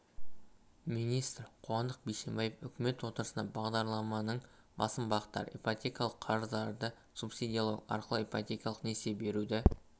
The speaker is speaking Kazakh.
министрі қуандық бишімбаев үкімет отырысында бағдарламаның басым бағыттары ипотекалық қарыздарды субсидиялау арқылы ипотекалық несие беруді